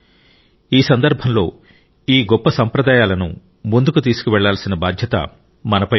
ఈ సందర్భంలో ఈ గొప్ప సంప్రదాయాలను ముందుకు తీసుకెళ్లాల్సిన బాధ్యత మనపై ఉంది